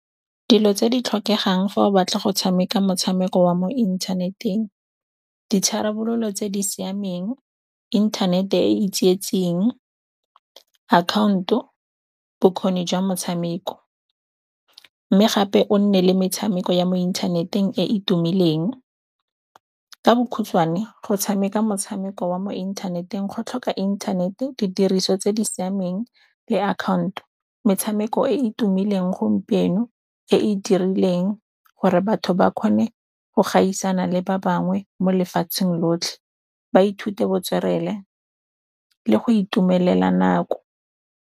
Dilo tse di tlhokegang fa o batla go tshameka motshameko wa mo inthaneteng, ditharabololo tse di siameng, internet e e tsietsing, account-o, bokgoni jwa motshameko mme gape o nne le metshameko ya mo inthaneteng e e tumileng. Ka bokhutshwane go tshameka motshameko wa mo inthaneteng go tlhoka inthanete, didiriso tse di siameng le account-o. Metshameko e e tumileng gompieno e e dirileng gore batho ba kgone go gaisana le ba bangwe mo lefatsheng lotlhe, ba ithute botswerere le go itumelela nako.